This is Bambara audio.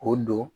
K'o don